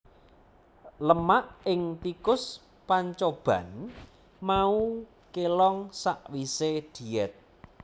Lemak ing tikus pancoban mau kélong sawisé diet